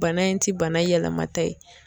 Bana in ti bana yɛlɛma ta ye.